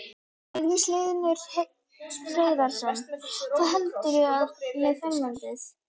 Magnús Hlynur Hreiðarsson: Hvað heldurðu með framhaldið?